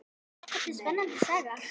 Þetta er spennandi saga.